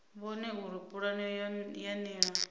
vhone uri pulane ya nila